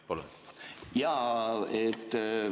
Palun!